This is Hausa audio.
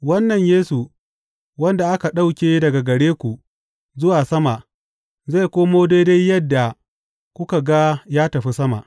Wannan Yesu, wanda aka ɗauke daga gare ku zuwa sama, zai komo daidai yadda kuka ga ya tafi sama.